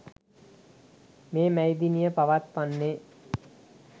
මේ මැයි දිනය පවත්වන්නේ